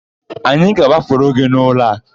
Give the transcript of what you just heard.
Anyị aga agbafuru gị n'ụlọ a?